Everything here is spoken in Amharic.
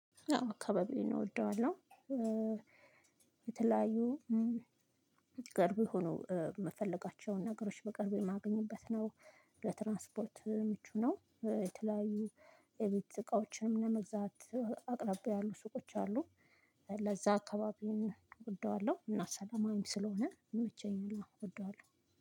አዎ አካባቢዬን እወደዋለሁ። የተለያዩ ቅርብ የሆኑ የምፈልጋቸውን ነገሮች በቅርብ የማገኝበት ነው። ለትራንስፖርት ምቹ ነው። የተለያዩ የቤት እቃዎችንም ለመግዛት አቅራቢያ ያሉ ሱቆች አሉ። ለዛ አካባቢየን እወደዋለሁ እና ሰላማዊም ስለሆነ ይመቼኛል። አወ እወደዋለሁ